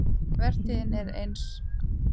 Vertíðin er aðeins hálfnuð